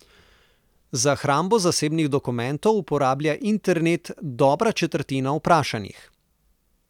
Za hrambo zasebnih dokumentov uporablja internet dobra četrtina vprašanih.